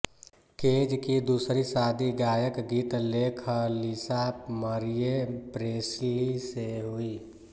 cage की दूसरी शादी गायकगीत लेखकलिसा मरिए प्रेस्लि से हुइ